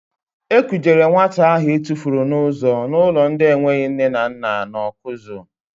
E kujere nwata ahụ etufuru n'ụzọ n'ụlọ ndị enweghị nne na nna nọ na Ọkụzụ.